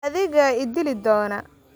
Adigaa i dili doona.